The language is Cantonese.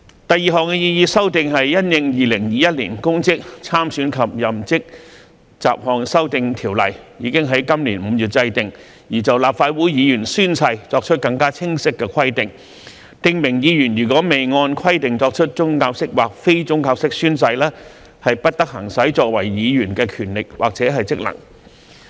第二項擬議修訂是因應《2021年公職條例》已於今年5月制定，而就立法會議員宣誓作出更清晰的規定，訂明議員如未按規定作出宗教式或非宗教式宣誓，不得行使作為議員的權力或職能。